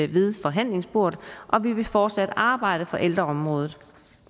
ved forhandlingsbordet og vi vil fortsat arbejde for ældreområdet